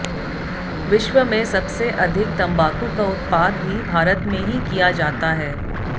विश्व में सबसे अधिक तंबाकू का उत्पाद भी भारत में ही किया जाता है